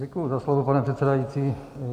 Děkuji za slovo, pane předsedající.